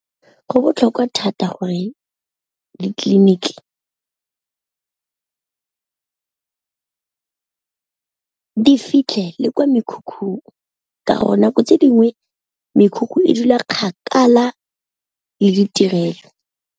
Go botlhokwa thata gore ditleliniki di fitlhe le kwa mekhukhung, ka gore nako tse dingwe mekhukhu e dula kgakala le ditirelo.